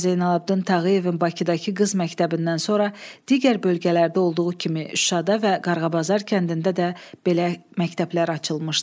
Hacı Zeynalabdin Tağıyevin Bakıdakı qız məktəbindən sonra digər bölgələrdə olduğu kimi Şuşada və Qarğabazar kəndində də belə məktəblər açılmışdı.